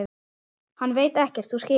Hann veit ekkert. þú skilur.